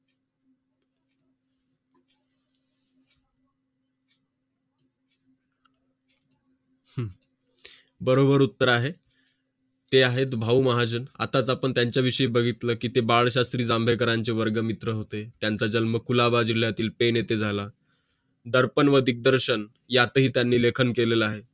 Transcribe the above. बरोबर उत्तर आहे ते आहेत भाऊ महाजन आताच आपण त्यांचा विषयी बघितलं की ते बाळशास्त्री जांभेकरांच्या वर्ग मित्र होते त्यांचं जन्म कुळाच्या जिल्यातील फेड येते झाला दर्पण व दिग्दर्शन यात ही त्यांनी लेखन केलेलं आहे